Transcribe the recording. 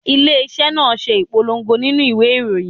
Ilé iṣẹ́ náà ṣe ìpolongo nínú ìwé ìròyìn.